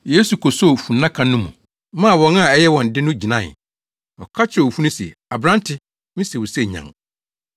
Yesu kosoo funnaka no mu maa wɔn a ɛyɛ wɔn de no gyinae. Ɔka kyerɛɛ owufo no se. “Aberante, mise wo sɛ, nyan!”